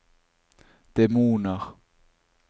demoner